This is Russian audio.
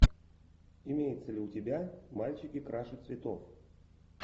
имеется ли у тебя мальчики краше цветов